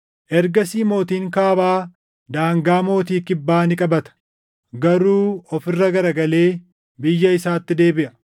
Ergasii mootiin Kaabaa daangaa mootii Kibbaa ni qabata; garuu of irra garagalee biyya isaatti deebiʼa.